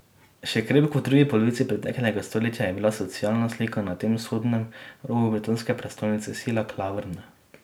Še krepko v drugi polovici preteklega stoletja je bila socialna slika na tem vzhodnem robu britanske prestolnice sila klavrna.